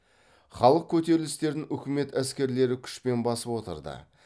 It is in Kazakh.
халық көтерілістерін үкімет әскерлері күшпен басып отырды